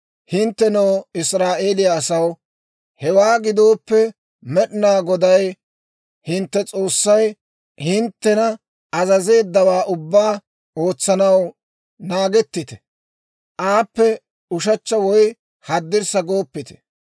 «Hinttenoo Israa'eeliyaa asaw, hewaa gidooppe Med'inaa Goday hintte S'oossay hinttena azazeeddawaa ubbaa ootsanaw naagettite; aappe ushechcha woy haddirssa gooppite.